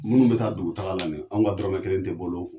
Munnu be taa dugutaga la ni ye an ka dɔrɔmɛ kelen te bɔl'o kun